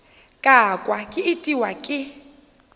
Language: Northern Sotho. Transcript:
ka kwa ke itiwa ke